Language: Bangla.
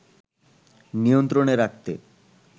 নিয়ন্ত্রণে রাখতে